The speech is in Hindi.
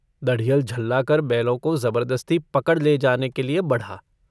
दढ़ियल झल्लाकर बैलों को जबरदस्ती पकड़ ले जाने के लिए बढ़ा।